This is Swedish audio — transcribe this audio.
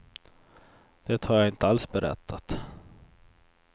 Det har jag inte alls berättat.